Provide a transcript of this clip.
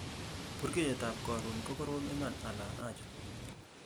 burgeiyet ab korun ko korom iman ala aja